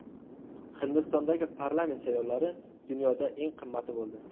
Hindistondagi parlament saylovlari dunyoda eng qimmati bo‘ldi.